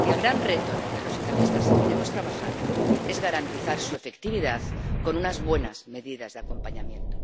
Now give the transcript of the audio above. El gran reto en el que los socialistas seguiremos trabajando es garantizar su efectividad con unas buenas medidas de acompañamiento.